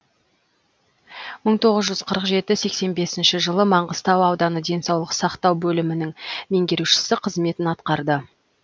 мың тоғыз жүз қырық жеті сексен бесінші жылы маңғыстау ауданы денсаулық сақтау бөлімінің меңгерушісі қызметін атқарды